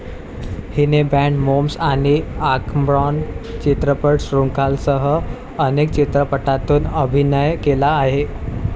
हिने Bad Moms आणि Anchorman चित्रपटश्रृंखलांसह अनेक चित्रपटांतून अभिनय केला आहे.